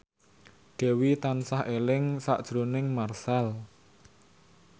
Dewi tansah eling sakjroning Marchell